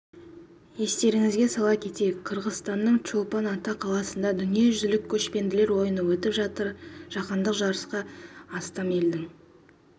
естеріңізге сала кетейік қырғызстанның чолпан ата қаласында дүниежүзілік көшпенділер ойыны өтіп жатыр жаһандық жарысқа астам елдің